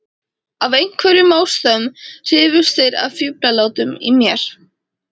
af einhverjum ástæðum hrifust þeir af fíflalátunum í mér.